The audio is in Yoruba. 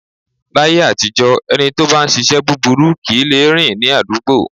Láyé àtijọ́ ẹni tó bá ń ṣíṣe búburú kì í lè rìn ní àdúgbò.